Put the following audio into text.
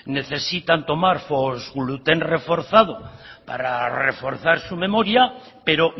necesitan tomar fosgluten reforzado para reforzar su memoria pero